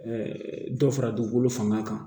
dɔ fara dugukolo fanga kan